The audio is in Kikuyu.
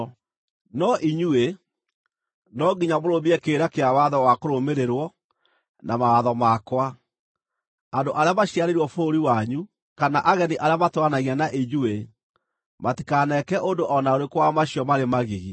No inyuĩ, no nginya mũrũmie kĩrĩra kĩa watho wa kũrũmĩrĩrwo, na mawatho makwa. Andũ arĩa maciarĩirwo bũrũri wanyu, kana ageni arĩa matũũranagia na inyuĩ, matikaneke ũndũ o na ũrĩkũ wa macio marĩ magigi,